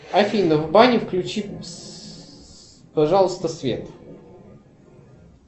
афина в бане включи пожалуйста свет